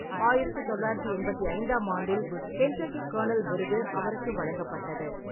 ஆயிரத்து தொள்ளாயிரத்து எண்பத்தி ஐந்தாம் ஆண்டில், கென்டக்கி கர்னல் விருது அவருக்கு வழங்கப்பட்டது.